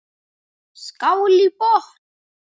Skál í botn.